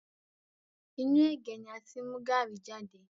Inú ẹ̀gé ni a ti mú gaàrí jade